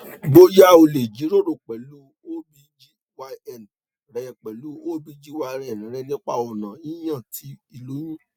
boya o le jiroro pẹlu obgyn rẹ pẹlu obgyn rẹ nipa ọna yiyan ti iloyun